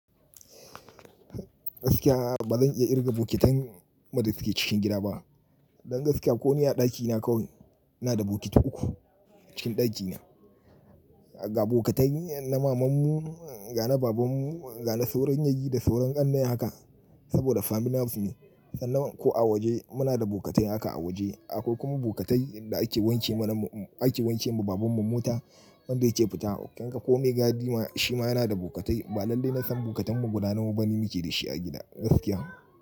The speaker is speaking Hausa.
Gaskiya ba zan iya irga bokitan mu da suke cikin gida ba. Don gaskiya ko ni a dakina kawai ina da bokiti uku cikin dakin na. Ga bokatai na mamanmu, ga na babanmu, ga na sauran yayyi da sauran ƙannai haka saboda family house ne. Sannan ko a waje muna da bokatai haka a waje. Akwai kuma bokatai da ake wanke mana mu, ake wanke ma babanmu mota wanda yake fita. Kin ga ko me gadi ma shi ma yana da bokatai. Ba lalle na san bokatan mu guda nawa bane muke da shi a gida gaskiya.